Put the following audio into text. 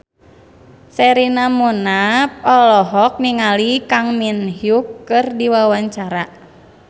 Sherina Munaf olohok ningali Kang Min Hyuk keur diwawancara